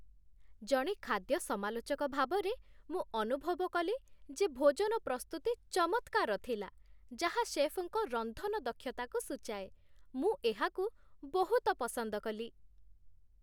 ଜଣେ ଖାଦ୍ୟ ସମାଲୋଚକ ଭାବରେ, ମୁଁ ଅନୁଭବ କଲି ଯେ ଭୋଜନ ପ୍ରସ୍ତୁତି ଚମତ୍କାର ଥିଲା, ଯାହା ଶେଫ୍‌ଙ୍କ ରନ୍ଧନ ଦକ୍ଷତାକୁ ସୂଚାଏ ମୁଁ ଏହାକୁ ବହୁତ ପସନ୍ଦ କଲି।